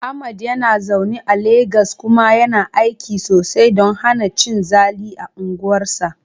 Ahmad yana zaune a Legas kuma yana aiki sosai don hana cin zali a unguwarsa.